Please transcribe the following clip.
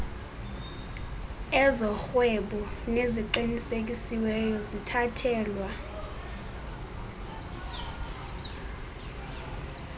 ezorhwebo neziqinisekisiweyo zithathelwa